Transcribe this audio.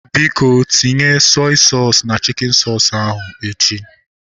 Biko, tinye sọi soosu na chikin soosu ahu echi